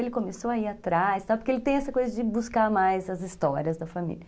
Ele começou a ir atrás, porque ele tem essa coisa de buscar mais as histórias da família.